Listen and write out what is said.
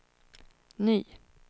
ny